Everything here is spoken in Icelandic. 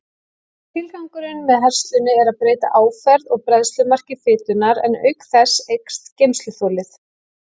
Tilgangurinn með herslunni er að breyta áferð og bræðslumarki fitunnar, en auk þess eykst geymsluþolið.